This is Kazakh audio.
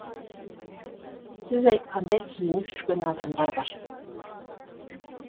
сіз айтқандай киініп жүрген адамдар бар